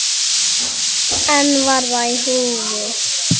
En var það í húfi?